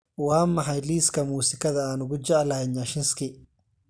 Waa maxay liiska muusikada aan ugu jeclahay nyashinski